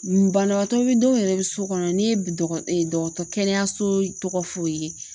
Banabagatɔ bɛ dɔw yɛrɛ bɛ so kɔnɔ n'i ye dɔgɔ dɔgɔtɔ kɛnɛyaso tɔgɔ f'u ye